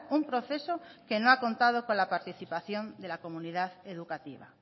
un proceso que no ha contado con la participación de la comunidad educativa